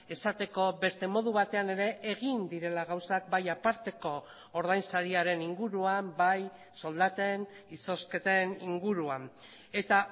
esateko beste modu batean ere egin direla gauzak bai aparteko ordainsariaren inguruan bai soldaten izozketen inguruan eta